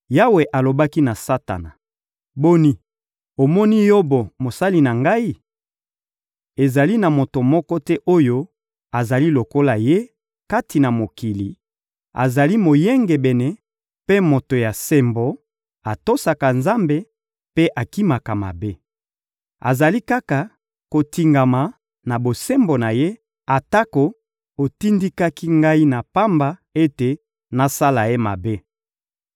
Yawe alobaki na Satana: — Boni, omoni Yobo, mosali na Ngai? Ezali na moto moko te oyo azali lokola ye, kati na mokili: azali moyengebene mpe moto ya sembo, atosaka Nzambe mpe akimaka mabe. Azali kaka kotingama na bosembo na ye, atako otindikaki Ngai na pamba ete nasala ye mabe.